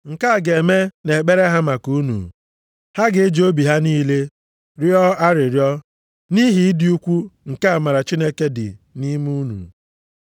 Nke a ga-eme nʼekpere ha maka unu, ha ga-eji obi ha niile rịọọ arịrịọ, nʼihi ịdị ukwu nke amara Chineke dị nʼime unu.